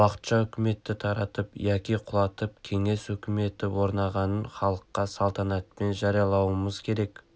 уақытша үкіметті таратып яки құлатып кеңес өкіметі орнағанын халыққа салтанатпен жариялауымыз керек